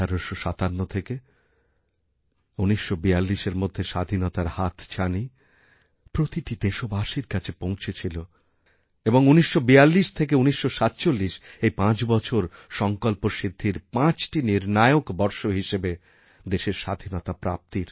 ১৮৫৭ থেকে ১৯৪২এর মধ্যে স্বাধীনতার হাতছানি প্রতিটি দেশবাসীর কাছেপৌঁছেছিল এবং ১৯৪২ থেকে ১৯৪৭ এই পাঁচ বছর সংকল্প সিদ্ধির পাঁচটি নির্ণায়ক বর্ষহিসেবে দেশের স্বাধীনতা প্রাপ্তির